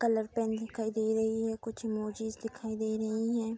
Colour pen दिखाई दे रही है कुछ इमोजिन्ज दिखाई दे रही हैं।